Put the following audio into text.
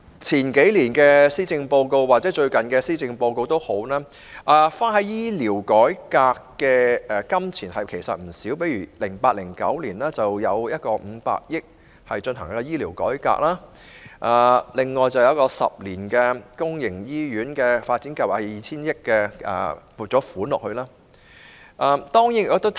從數年前或最近的施政報告的建議可見，政府花在醫療改革的費用其實不少，例如在 2008-2009 年度有一項500億元的撥款用於醫療改革，以及用於10年公營醫院發展計劃的撥款達 2,000 億元。